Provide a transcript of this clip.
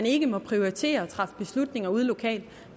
ikke må prioritere og træffe beslutninger ude lokalt